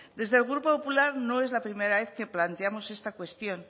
desde el grupo popular no es la primera vez que planteamos esta cuestión